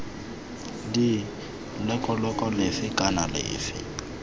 d leloko lefe kana lefe